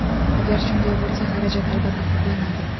Agar shunday bo‘lsa, xarajat albatta qoplanadi”.